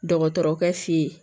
Dɔgɔtɔrɔkɛ fe ye